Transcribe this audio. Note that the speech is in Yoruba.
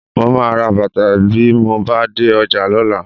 Mo máa ra bàtà bí mo bá dé ọjà lọ́la